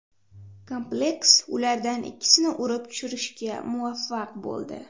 Kompleks ulardan ikkisini urib tushirishga muvaffaq bo‘ldi.